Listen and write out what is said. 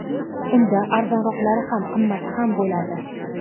Unda arzonroqlari ham, qimmati ham bo‘ladi.